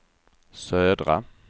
södra